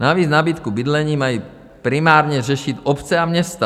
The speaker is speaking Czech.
Navíc nabídku bydlení mají primárně řešit obce a města.